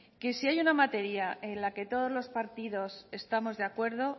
sí hay una materia en la que todos los partidos estamos de acuerdo